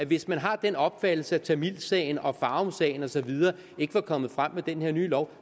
hvis man har den opfattelse at tamilsagen og farumsagen og så videre ikke var kommet frem med den her nye lov